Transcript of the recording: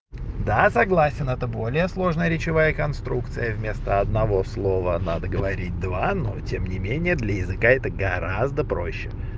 да согласен это более сложная речевая конструкция вместо одного слова надо говорить два но тем не менее для языка это гораздо проще